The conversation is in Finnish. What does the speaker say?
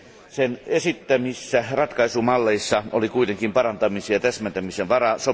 Sen esittämissä ratkaisumalleissa oli kuitenkin parantamisen ja täsmentämisen varaa.